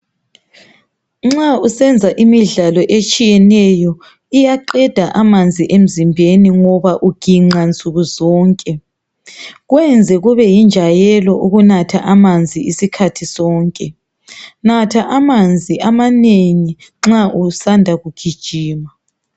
nxa usenza imidlalo etshiyeneyo iyaqeda amanzi emzimbeni ngoba uginqa nsukuzonke kwenze kube yinjwayelo ukunatha amanzi isikhathi sonke natha amanzi amanengi nxa usanda kugijima